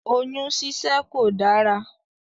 Oyún síṣẹ́ kò dárá.